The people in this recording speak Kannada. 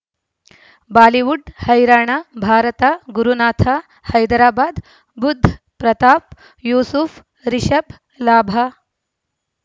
ಬಾಲಿವುಡ್ ಹೈರಾಣ ಭಾರತ ಗುರುನಾಥ ಹೈದರಾಬಾದ್ ಬುಧ್ ಪ್ರತಾಪ್ ಯೂಸುಫ್ ರಿಷಬ್ ಲಾಭ